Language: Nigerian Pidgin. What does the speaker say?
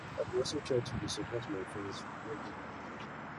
i dey also try to dey support my friends wen dem need me